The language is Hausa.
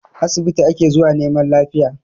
Asibiti ake zuwa neman lafiya